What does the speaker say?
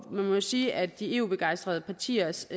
man må jo sige at de eu begejstrede partiers